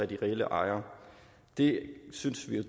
de reelle ejere det synes vi jo